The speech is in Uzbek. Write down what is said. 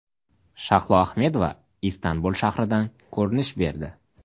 Shahlo Ahmedova Istanbul shahridan ko‘rinish berdi.